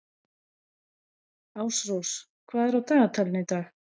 Ásrós, hvað er á dagatalinu í dag?